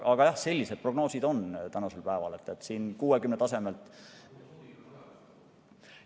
Aga jah, sellised need prognoosid tänasel päeval on, 60 tasemel.